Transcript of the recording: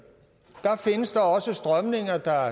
findes der også strømninger der